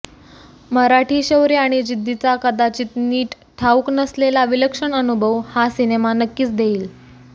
मराठी शौर्य आणि जिद्दीचा कदाचित नीट ठाऊक नसलेला विलक्षण अनुभव हा सिनेमा नक्कीच देईल